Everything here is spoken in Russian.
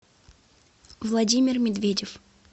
владимир медведев